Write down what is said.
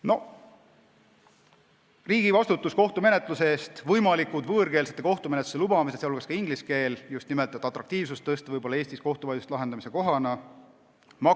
Mainin ka riigi vastutust kohtumenetluse eest, võimalikke võõrkeelsete, sh ingliskeelsete kohtumenetluste lubamisi, just nimelt selleks, et muuta Eesti kohtuvaidluste lahendamise kohana atraktiivsemaks.